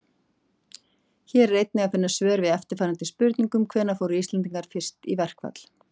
Hér er einnig að finna svör við eftirfarandi spurningum: Hvenær fóru Íslendingar fyrst í verkfall?